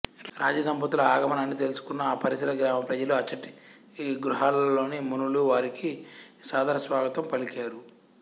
రాజదంపతుల ఆగమనాన్ని తెలుసుకున్న ఆపరిసర గ్రామాల ప్రజలు అచ్చటి గుహలలోని మునులు వారికి సాదరస్వాగతం పలికారు